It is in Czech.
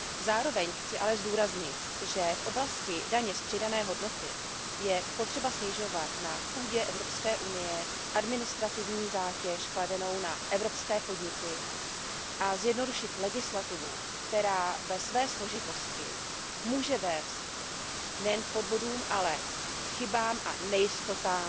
Zároveň chci ale zdůraznit, že v oblasti daně z přidané hodnoty je potřeba snižovat na půdě Evropské unie administrativní zátěž kladenou na evropské podniky a zjednodušit legislativu, která ve své složitosti může vést nejen k podvodům, ale k chybám a nejistotám,